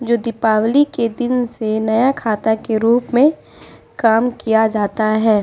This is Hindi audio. ये दीपावली के दिन से नया खाता के रूप में काम किया जाता है।